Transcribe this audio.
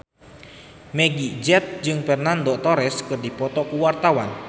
Meggie Z jeung Fernando Torres keur dipoto ku wartawan